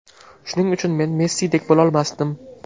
Shuning uchun men Messidek bo‘lolmasdim.